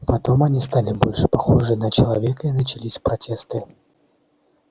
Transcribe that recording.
потом они стали больше похожи на человека и начались протесты